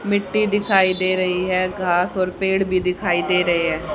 मिट्टी दिखाई दे रही है घास और पेड़ भी दिखाई दे रहे हैं।